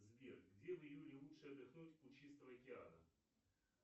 сбер где в июле лучше отдохнуть у чистого океана